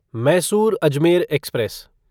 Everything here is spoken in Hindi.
मैसूर अजमेर एक्सप्रेस